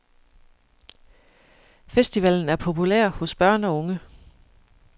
Festivalen er populær hos børn og unge.